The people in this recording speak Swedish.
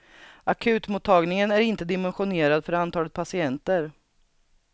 Akutmottagningen är inte dimensionerad för antalet patienter.